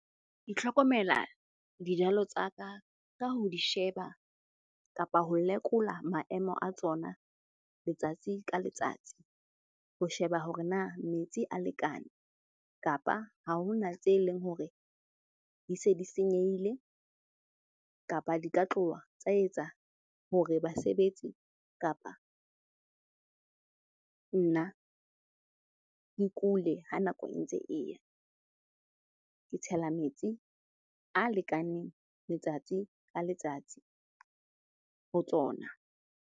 Dijalo tsa ka ho di sheba kapa ho lekola maemo a tsona letsatsi ka letsatsi. Ho sheba hore na metsi a lekane kapa ha ho na tse leng hore di se di senyehile kapa di tla tloha tsa etsa hore basebetsi kapa nna ke kule ha nako e ntse e ya. Ke tshela metsi a lekaneng letsatsi ka letsatsi ho tsona.